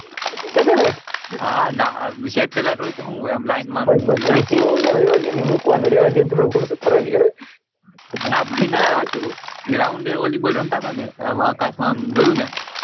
satellite હા ના સેટેલાઇતે હોય તે હું એમ લઈને બસ બસ રેવાદેને મુકવાનું રેવાદેને થોડું ના ભાઈ ના હાચુ કૌ ground એ volleyball રમતા તા ને આમ આકાશ માં જોયું ને,